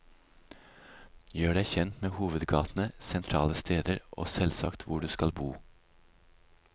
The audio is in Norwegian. Gjør deg kjent med hovedgatene, sentrale steder, og selvsagt hvor du skal bo.